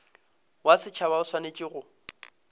wa setšhaba o swanetše go